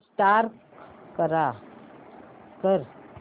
restart कर